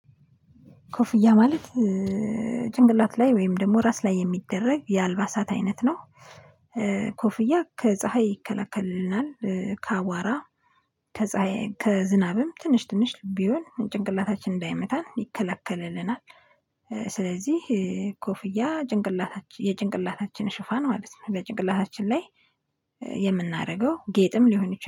ኮፍያ ማለት ጭንቅላቴ ላይ ወይም ደግሞ ራስ ላይ የሚደረግ የአልባሳት አይነት ነው። ኮፍያ ከፀሀይ ይከላክልናል ከአዋራ ከዝናብም ትንሽ ትንሽ ቢሆን ጭንቅላታችን እንዳይመታን ይከላከልልናል። ስለዚህ ኮፍያ ጭንቅላታችን የጭንቅላታችን ሽፋን ማለት ነው በጭንቅላታችን ላይ የምናደርገው ጌጥም ሊሆን ይችላል